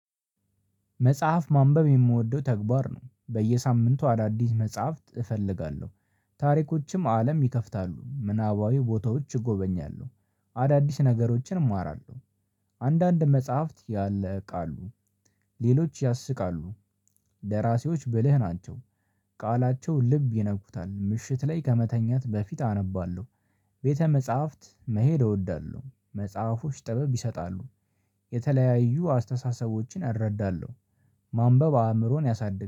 መጽሐፍ ማንበብ የምወደው ተግባር ነው በየሳምንቱ አዳዲስ መጽሐፍት እፈልጋለሁ። ታሪኮችም አለም ይከፍታሉ ምናባዊ ቦታዎች እጎበኛለሁ። አዳዲስ ነገሮችን እማራለሁ። አንዳንድ መጽሐፍት ያለ ቃሉ ሌሎች ያስቃሉ። ደራሲዎች ብልህ ናቸው። ቃላቸው ልብ ይነኩታል ምሽት ላይ ከመተኛት በፊት አነባለሁ። ቤተ መጽሐፍት መሄድ እወዳለሁ። መጽሐፎች ጥበብ ይሰጣሉ። የተለያዩ አስተሳሰቦችን አረዳለሁ። ማንበብ አእምሮን ያሳድጋል